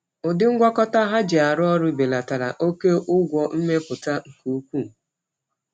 Ụdị ngwakọta ha ji arụ ọrụ belatara oke ụgwọ mmepụta nke ukwuu.